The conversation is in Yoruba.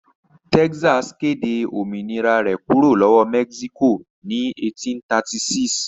Texas kéde òmìnira rẹ̀ kúrò lọ́wọ́ Mexico ní 1836.